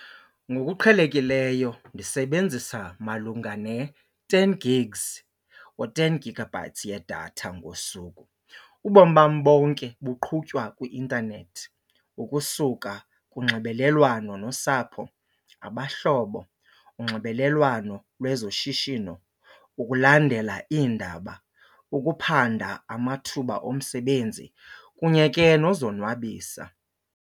Ngokuqhelekileyo ndisebenzisa malunga ne-ten gigs or ten gigabytes yedatha ngosuku. Ubomi bam bonke buqhutywa kwi-intanethi ukusuka kunxibelelwano nosapho, abahlobo, unxibelelwano lwezoshishino, ukulandela iindaba, ukuphanda amathuba omsebenzi kunye ke nozonwabisa.